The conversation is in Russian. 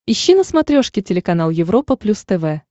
ищи на смотрешке телеканал европа плюс тв